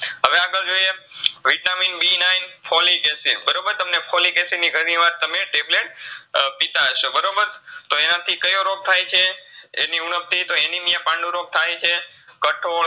હવે આગડ જોઈએ Vitamin B nine Folic Acid બરોબર તમને Folic Acid ની ઘણીવાર તમે tablet અ પિતા હશો બરોબર તો એનેથી કયો રોગ થાયછે? એની ઉણબથી તો Anemia પાંડુરોગ થાયછે, કઠોળ